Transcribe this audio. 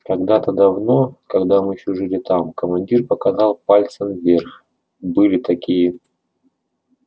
когда-то давно когда мы ещё жили там командир показал пальцем вверх были такие